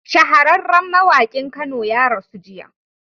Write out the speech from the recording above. Shahararran mawakin kano ya rasu jiya